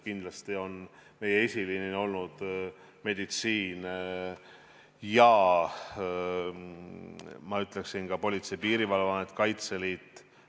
Kindlasti on eesliinil olnud meditsiin ja ma ütleksin, et ka Politsei- ja Piirivalveamet, Kaitseliit.